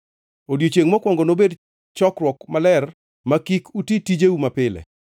Odiechiengʼ mokwongo nobed chokruok maler ma kik uti tijeu mapile.